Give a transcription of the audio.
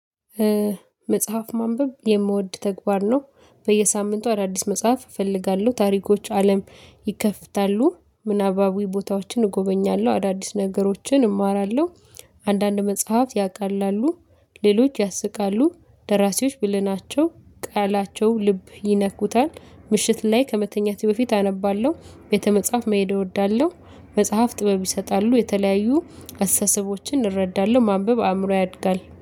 መጽሐፍ ማንበብ የምወድ ተግባር ነው። በየሳምንቱ አዳዲስ መጽሐፍ እፈልጋለሁ ታሪኮች አለም ይከፍታሉ፣ ምናባዊ ቦታዎችን እጎበኛለሁ፣ አዳዲስ ነገሮችን እማራለሁ፣ አንዳንድ መጽሐፍ ያቃላሉ፣ ሌሎች ያስቃሉ ደራሲዎች ብለናቸው ቃላቸው ልብ ይነኩታል ምሽት ላይ ከመተኛቴ በፊት አነባለሁ፣ ቤተ መጽሐፍ መሄድ እወዳለሁ፣ መጽሐፍ ጥበብ ይሰጣሉ፣ የተለያዩ አስተሳሰቦችን እረዳለሁ፣ ማንበብ አእምሮ ያድጋል።